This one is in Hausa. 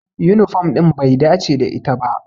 Yunifom ɗin bai dace da ita ba.